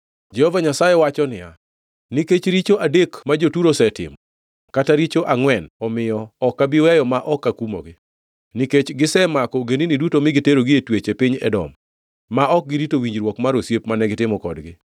Jehova Nyasaye wacho niya, “Nikech richo adek ma jo-Turo osetimo, kata richo angʼwen, omiyo ok abi weyo ma ok akumogi. Nikech gisemako ogendini duto mi giterogi e twech e piny Edom, ma ok girito winjruok mar osiep mane gitimo kodgi,